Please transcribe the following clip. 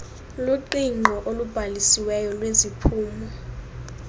luqingqo olubhalisiweyo lweziphumo